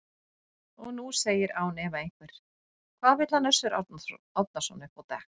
Og nú segir án efa einhver: Hvað vill hann Össur Árnason upp á dekk?